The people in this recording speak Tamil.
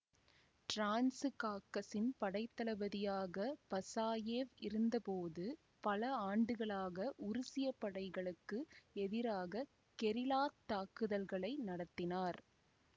டிரான்சுகாக்கசின் படைத்தளபதியாக பசாயெவ் இருந்த போது பல ஆண்டுகளாக உருசிய படைகளுக்கு எதிராக கெரில்லாத் தாக்குதல்களை நடத்தினார்